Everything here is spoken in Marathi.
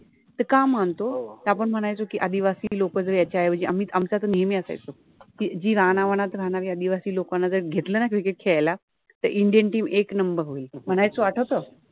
का मानतो, त आपण मनायचो कि आदिवासि लोक जे याच्या ऐवजि आम्हि आमचा त नेहमि असायच कि रानावनात राहनारी आदिवासि लोकाना जर घेतल न क्रिकेट {cricket} खेळायला तर इंडियन टिम एक नम्बर होइल मनायचो आठवतो